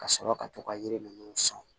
Ka sɔrɔ ka to ka yiri ninnu sɔn